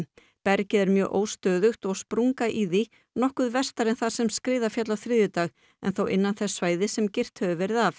bergið er mjög óstöðugt og sprunga í því nokkuð vestar en þar sem skriða féll á þriðjudag en þó innan þess svæðis sem girt hefur verið af